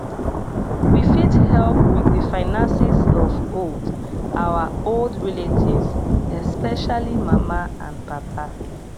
we fit help with the finances of old our old relatives especially mama and papa